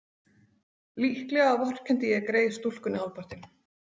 Líklega vorkenndi ég grey stúlkunni hálfpartinn.